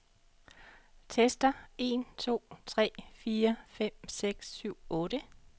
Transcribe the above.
Tester en to tre fire fem seks syv otte.